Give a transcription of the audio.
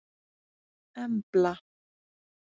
Embla